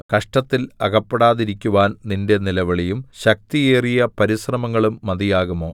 കഷ്ടത്തിൽ അകപ്പെടാതിരിക്കുവാൻ നിന്റെ നിലവിളിയും ശക്തിയേറിയ പരിശ്രമങ്ങളും മതിയാകുമോ